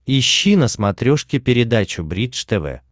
ищи на смотрешке передачу бридж тв